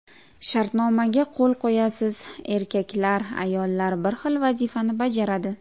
Shartnomaga qo‘l qo‘yasiz: erkaklar, ayollar bir xil vazifani bajaradi.